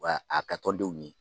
Wa a kɛ tɔ denw ye.